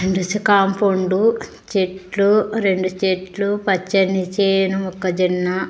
Compound చెట్లు రెండు చెట్లు పచ్చని చేను మొక్కజెన్న.